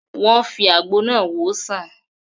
Wọ́n fi àwọn àgbo náà wòó sàn